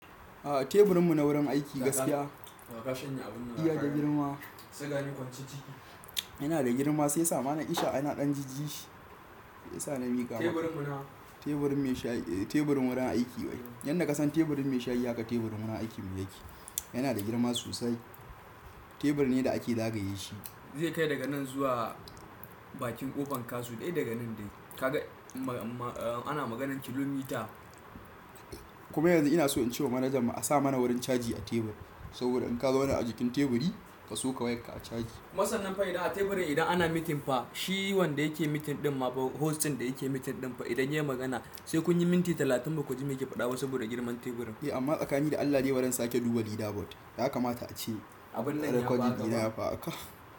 A teburin mu na wurin aiki gaskiya yana da girma sai sa mana ishe yana ɗan jiji shi. Yanda ka san teburin mai shayi haka teburin wurin aikin mu yake. Yana da girma sosai tebur ne da ake zagaye shi. Zai kai daga nan zuwa bakin ƙofan KASU dai daga nan dai. Ka ga ana maganar kilomita-- kuma yanzu ina so in ce wa manajan mu a sa mana wurin caji a tebur saboda in ka zauna a jikin teburi ka soka wayarka a caji kuma sannan fa idan a teburin idan ana meeting fa shi wanda yake meeting ɗin ma host ɗin da yake meeting ɗin fa idan yai magana sai kun yi minti talatin bakuji me yake faɗa ba saboda girman teburin. E amma tsakanin da Allah de bari na sake duba Lida bot ya kamata ace recording dina yafi haka.